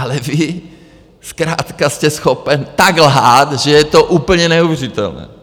Ale vy zkrátka jste schopen tak lhát, že je to úplně neuvěřitelné.